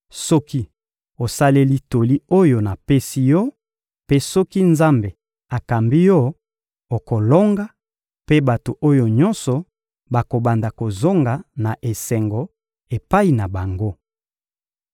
Soki osaleli toli oyo napesi yo mpe soki Nzambe akambi yo, okolonga, mpe bato oyo nyonso bakobanda kozonga na esengo epai na bango.